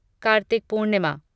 Kartik Purnima